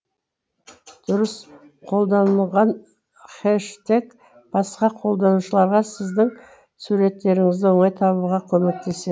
дұрыс қолданылған хэштег басқа қолданушыларға сіздің суреттеріңізді оңай табуға көмектесе